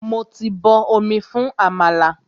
Mo ti bọ omi fún àmàlà.